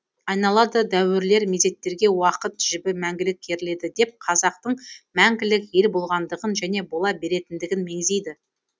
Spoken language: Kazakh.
айналады дәуірлер мезеттерге уақыт жібі мәңгілік керіледі деп қазақтың мәңгілік ел болғандығын және бола беретіндігін меңзейді